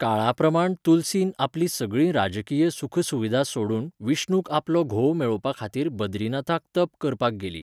काळाप्रमाण तुलसी आपली सगळी राजकीय सुख सुविधा सोडून विष्णूक आपलो घोव मेळोवपाखातीर बद्रीनाथाक तप करपाक गेली.